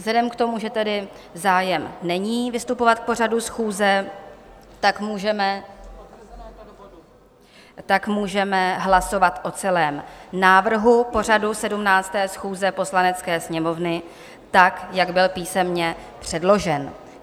Vzhledem k tomu, že tedy zájem není vystupovat k pořadu schůze, tak můžeme hlasovat o celém návrhu pořadu 17. schůze Poslanecké sněmovny, tak jak byl písemně předložen.